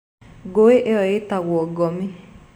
Ngui ĩyo ĩĩtagwo Gomi.